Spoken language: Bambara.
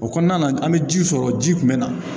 O kɔnɔna na an bɛ ji sɔrɔ ji kun bɛ na